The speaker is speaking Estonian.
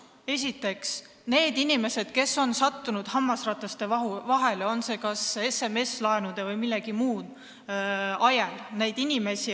Esiteks, tegu on inimestega, kes on sattunud elu hammasrataste vahele, olgu SMS-laenude või millegi muu tõttu.